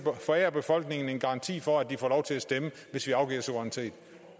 forære befolkningen en garanti for at den får lov til at stemme hvis vi afgiver suverænitet